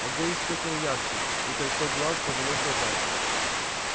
огонь вспыхнул ярче и кольцо глаз подалось назад